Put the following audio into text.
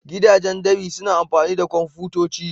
Gidajen dab'i suna amfani da kwamfutoci.